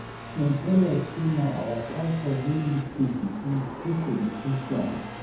Dem tell us say na our pastor wey make peace between the two politicians.